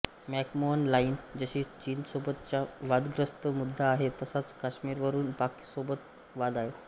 McMahon line जशी चीनसोबतचा वादग्रस्त मुद्दा आहे तसाच काश्मीरवरून पाकसोबत वाद आहेत